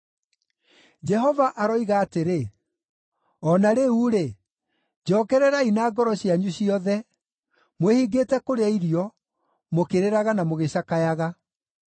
Jehova aroiga atĩrĩ, “O na rĩu-rĩ, njokererai na ngoro cianyu ciothe, mwĩhingĩte kũrĩa irio, mũkĩrĩraga na mũgĩcakayaga.”